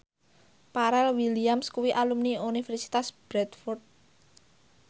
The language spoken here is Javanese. Pharrell Williams kuwi alumni Universitas Bradford